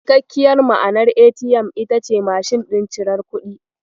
Cikakkiyar ma'anar ATM ita ce "Mashin ɗin cirar kuɗi".